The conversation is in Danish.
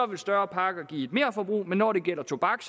vil større pakker give et merforbrug men når det gælder tobak